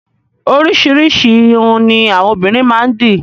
Oríṣiríṣi ìrún ni àwọn obìnrin máa ń dì.